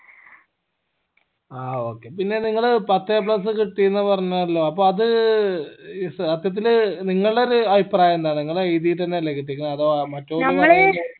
ആ okay പിന്നെ നിങ്ങള് പത്ത് a plus കിട്ടീന്ന് പറഞ്ഞല്ലോ അപ്പോ അത് ഏർ സത്യത്തില് നിങ്ങളെടെ ഒരു അഭിപ്രായം എന്താണ് നിങ്ങള് എഴിതിട്ട് എന്നെ അല്ലെ കിട്ടിക്കണേ അതോ മറ്റൊര